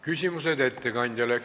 Küsimused ettekandjale.